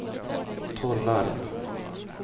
Tollarp